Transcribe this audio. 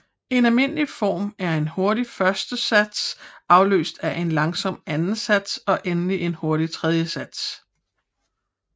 En almindelig form er en hurtig første sats afløst af en langsom anden sats og endelig en hurtig tredje sats